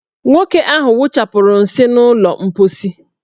Nwoke ahụ wụchapụrụ nsị n' ụlọ mposi.